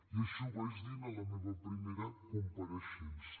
i així ho vaig dir en la meva primera compareixença